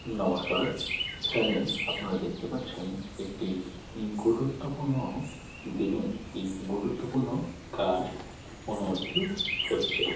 নমস্কার এখানে আপনারা দেখতে পাচ্ছেন একটি হু গুরুত্বপূর্ণ দিনে একটি গুরুত্বপূর্ণ কাজ অনুমোদিত হচ্ছে।